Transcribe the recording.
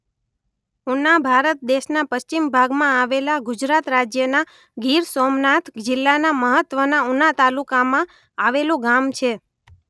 ઉના ભારત દેશના પશ્ચિમ ભાગમાં આવેલા ગુજરાત રાજ્યના ગીર-સોમનાથ જિલ્લાના મહત્વના ઉના તાલુકામાં આવેલું ગામ છે.